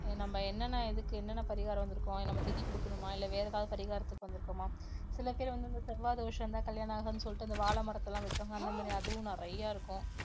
நம்ம என்னென்ன இதுக்கு என்னென்ன பரிகாரம் வந்திருக்கோம் நம்ம திதி கொடுக்கணுமா இல்லை வேற ஏதாவது பரிகாரத்துக்கு வந்திருக்கோமா சில பேர் வந்து இந்த செவ்வாய் தோஷம் இருந்தா கல்யாணம் ஆகாதுன்னு சொல்லிட்டு அந்த வாழை மரத்தை எல்லாம் வெட்டுவாங்க அந்த மாதிரி அதுவும் நிறைய இருக்கும்